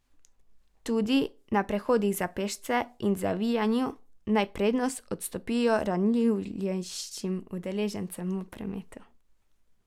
Tudi na prehodih za pešce in zavijanju naj prednost odstopijo ranljivejšim udeležencem v prometu.